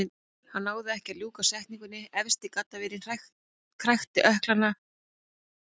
Hann náði ekki að ljúka setningunni, efsti gaddavírinn krækti í ökkla hans.